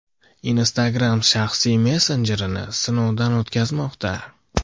Instagram shaxsiy messenjerini sinovdan o‘tkazmoqda.